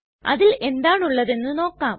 അതിൽ എന്താണ് ഉള്ളതെന്ന് നമുക്ക് നോക്കാം